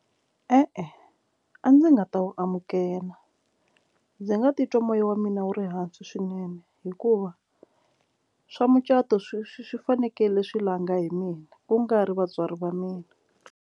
E-e, a ndzi nga ta wu amukela ndzi nga titwa moya wa mina wu ri hansi swinene hikuva swa mucato swi swi swi fanekele swi langa hi mina ku nga ri vatswari va mina.